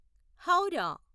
Howrah